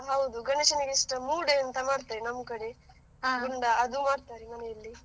ಹೌದು, ಗಣೇಶನಿಗೆ ಇಷ್ಟ ಮೂಡೆ ಅಂತ ಮಾಡ್ತಾರೆ ನಮ್ಕಡೆ, ಗುಂಡ ಅದು ಮಾಡ್ತಾರೆ ಮನೆಯಲ್ಲಿ.